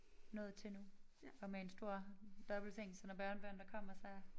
Nået til nu og med en stor dobbeltseng så når børnebørnene kommer så